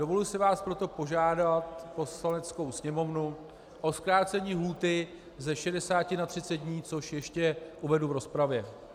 Dovoluji si vás proto požádat, Poslaneckou sněmovnu, o zkrácení lhůty ze 60 na 30 dní, což ještě uvedu v rozpravě.